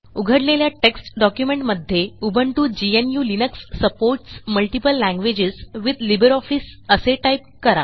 उघडलेल्या टेक्स्ट डॉक्युमेंटमध्ये उबुंटू gnuलिनक्स supports multiple languages with LibreOffice असे टाईप करा